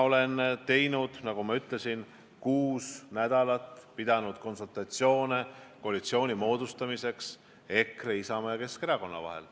Aga nagu ma ütlesin, ma olen kuus nädalat pidanud konsultatsioone, et moodustada koalitsioon EKRE, Isamaa ja Keskerakonna vahel.